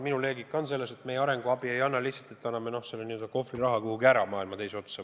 Minu loogika on selles, et me ei anna arenguabi lihtsalt mõttega, et anname selle n-ö kohvriraha kuhugi ära maailma teise otsa.